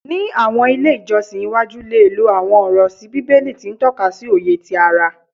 Ni awọn ile ijọsin iwaju le lo awọn ọrọ si bibeli ti n tọka si oye ti ara